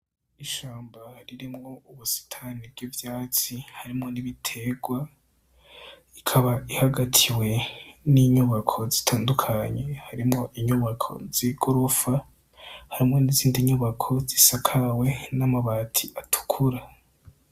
Ishamba ririmwo ubisitane bw'ivyatsi harimwo n' ibitegwa, ikaba ihagatiwe n' inyubako zitandukanye harimwo inyubako z'igorofa harimwo n' izindi nyubako zisakawe n' amabati atukura.